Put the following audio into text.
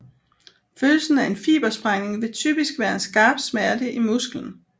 Følelsen af en fibersprængning vil typisk være en skarp smerte i musklen